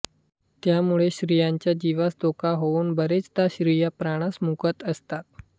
त्यामुळे स्त्रियांच्या जीवास धोका होऊन बरेचदा स्त्रिया प्राणास मुकत असतात